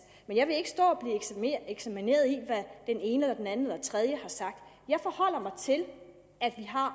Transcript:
men jeg vil ikke stå og blive eksamineret i hvad den ene den anden eller den tredje har sagt jeg forholder mig til at vi har